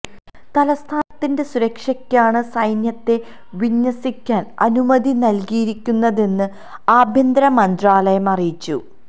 തലസ്ഥാനത്തിന്റെ സുരക്ഷക്കാണ് സൈന്യത്തെ വിന്യസിക്കാന് അനുമതി നല്കിയിരിക്കുന്നതെന്ന് ആഭ്യന്തര മന്ത്രാലയം അറിയിച്ചു